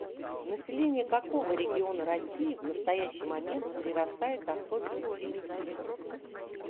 население какого региона россии в настоящий момент прирастает особенно стремительно